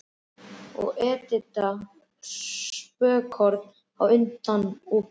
Og Edita spölkorn á undan og bíll.